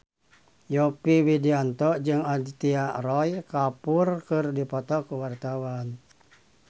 Yovie Widianto jeung Aditya Roy Kapoor keur dipoto ku wartawan